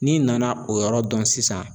N'i nana o yɔrɔ dɔn sisan